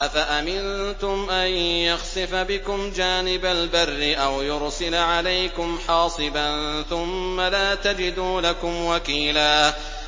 أَفَأَمِنتُمْ أَن يَخْسِفَ بِكُمْ جَانِبَ الْبَرِّ أَوْ يُرْسِلَ عَلَيْكُمْ حَاصِبًا ثُمَّ لَا تَجِدُوا لَكُمْ وَكِيلًا